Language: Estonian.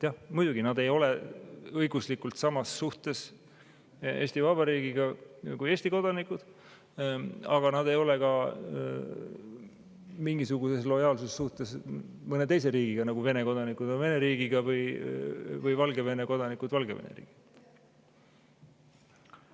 Jah, muidugi, nad ei ole õiguslikult Eesti Vabariigiga samas suhtes kui Eesti kodanikud, aga nad ei ole ka mingisuguses lojaalsussuhtes mõne teise riigiga, nagu Vene kodanikud on Vene riigiga või Valgevene kodanikud Valgevene riigiga.